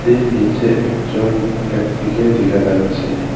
এর নীচে একজন ব্যক্তিকে দেখা যাচ্ছে।